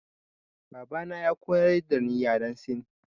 Baba na ya koyar dani yaren sin.